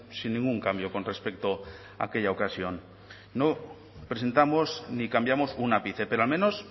sin ningún cambio con respecto a aquella ocasión no presentamos ni cambiamos un ápice pero al menos